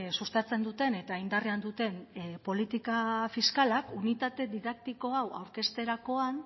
sustatzen duten eta indarrean duten politika fiskalak unitate didaktiko hau aurkezterakoan